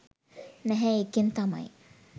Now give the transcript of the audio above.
නැහැ ඒකෙන් තමයි